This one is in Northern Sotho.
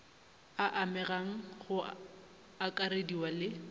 a amegang go akarediwa le